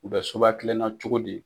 U bɛ soba kelenna cogo di.